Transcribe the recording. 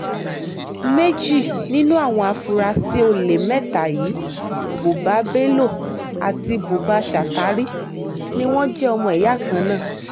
méjì nínú àwọn afurasí olè mẹ́ta yìí buba bello àti buba shatari ni wọ́n jẹ́ ọmọ ìyá kan náà